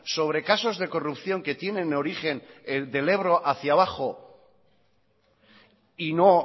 sobre casos de corrupción que tienen origen del ebro hacia abajo y no